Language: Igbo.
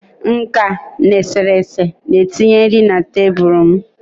nka na eserese na-etinye nri na tebụl m